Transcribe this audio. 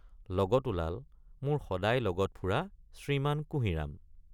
লগত ওলাল মোৰ সদায় লগত ফুৰা শ্ৰীমান কুঁহিৰাম।